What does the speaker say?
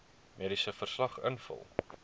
mediese verslag invul